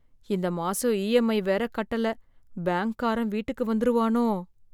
இந்த மாசம் இஎம்ஐ வேற கட்டல பேங்க்காரன் வீட்டுக்கு வந்துருவானோ!